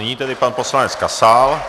Nyní tedy pan poslanec Kasal.